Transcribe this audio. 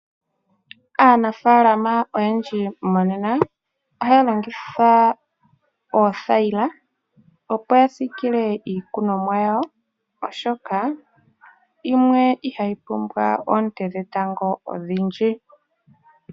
Aanafalama oyendji monena, ohaya longitha othayila opo ya siikile iimeno yawo, oshoka yimwe ihayi pumbwa oonte dhetango odhindji.